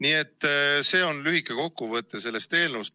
Selline oli lühike kokkuvõte sellest eelnõust.